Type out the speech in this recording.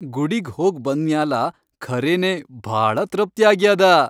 ಗುಡಿಗ್ ಹೋಗ್ ಬಂದ್ ಮ್ಯಾಲ ಖರೇನೇ ಭಾಳ ತೃಪ್ತ್ಯಾಗ್ಯಾದ.